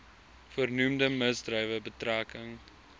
voornoemde misdrywe betrekking